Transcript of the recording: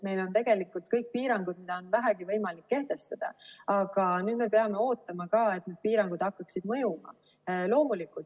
Meil on tegelikult kõik piirangud, mida on vähegi võimalik kehtestada, aga nüüd me peame ootama, et need piirangud hakkaksid mõjuma.